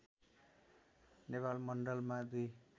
नेपाल मण्डलमा दुई